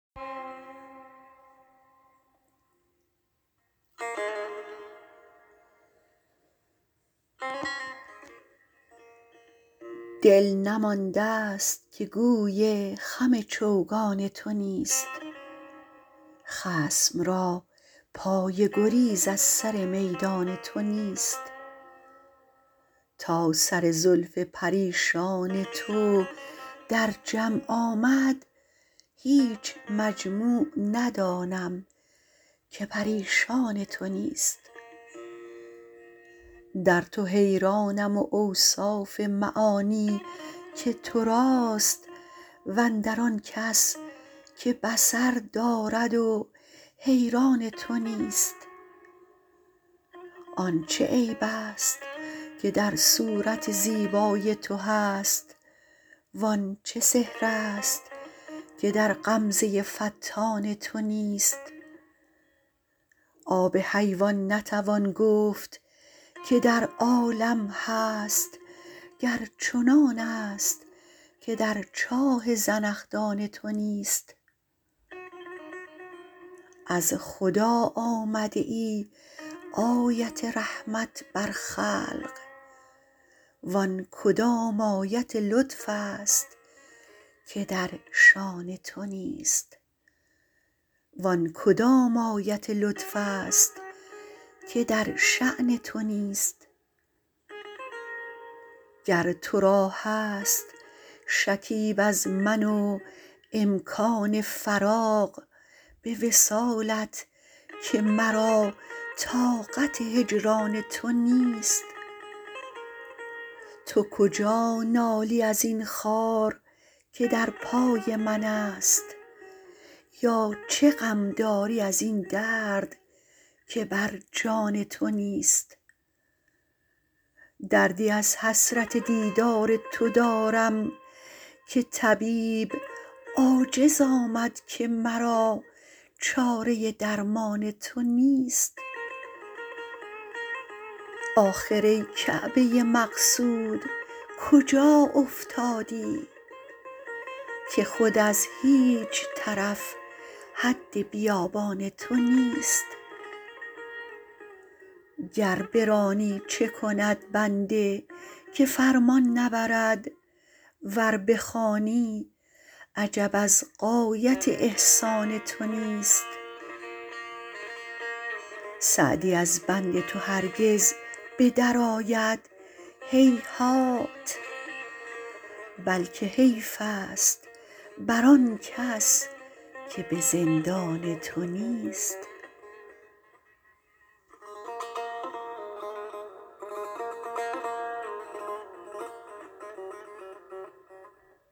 دل نمانده ست که گوی خم چوگان تو نیست خصم را پای گریز از سر میدان تو نیست تا سر زلف پریشان تو در جمع آمد هیچ مجموع ندانم که پریشان تو نیست در تو حیرانم و اوصاف معانی که تو راست و اندر آن کس که بصر دارد و حیران تو نیست آن چه عیب ست که در صورت زیبای تو هست وان چه سحر ست که در غمزه فتان تو نیست آب حیوان نتوان گفت که در عالم هست گر چنانست که در چاه زنخدان تو نیست از خدا آمده ای آیت رحمت بر خلق وان کدام آیت لطف ست که در شأن تو نیست گر تو را هست شکیب از من و امکان فراغ به وصالت که مرا طاقت هجران تو نیست تو کجا نالی از این خار که در پای منست یا چه غم داری از این درد که بر جان تو نیست دردی از حسرت دیدار تو دارم که طبیب عاجز آمد که مرا چاره درمان تو نیست آخر ای کعبه مقصود کجا افتادی که خود از هیچ طرف حد بیابان تو نیست گر برانی چه کند بنده که فرمان نبرد ور بخوانی عجب از غایت احسان تو نیست سعدی از بند تو هرگز به درآید هیهات بلکه حیف ست بر آن کس که به زندان تو نیست